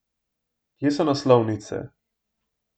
Kje so naslovnice?